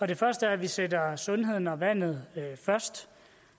det første er at vi sætter sundheden og vandet først